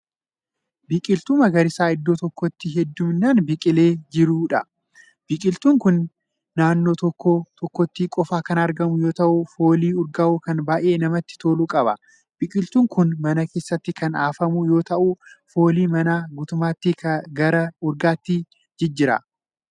Biqiltuu magariisa iddoo tokkootti heeddumminaan biqilee jiruudha. biqiltuun kuni naannoo tokko tokkootti qofa Kan argamu yoo ta'u foolii urgaawu kan baay'ee namatti tolu qaba. biqiltuun Kun man keessatti Kan afamu yoo ta'u foolii manaa guutumaatti gara urgaatti jijjiira.